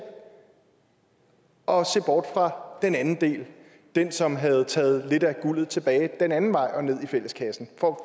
og se bort fra den anden del som havde taget lidt af guldet tilbage den anden vej og ned i fælleskassen for